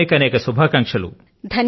అనేకానేక శుభాకాంక్షలు